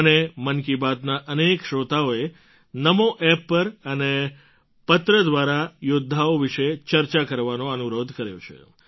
મને મન કી બાતના અનેક શ્રોતાઓએ NamoApp પર અને પત્ર દ્વારા આ યૌદ્ધાઓ વિશે ચર્ચા કરવાનો અનુરોધ કર્યો છે